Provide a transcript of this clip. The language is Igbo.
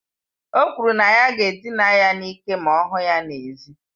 O kwuru na ya ga-edina ya n'ike ma ọ hụ ya n'èzí.